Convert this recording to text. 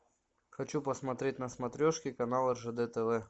хочу посмотреть на смотрешке канал ржд тв